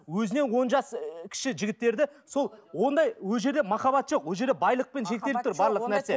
өзінен он жас кіші ы жігіттерді сол ондай ол жерде махаббат жоқ бұл жерде байлықпен шектеліп тұр барлық нәрсе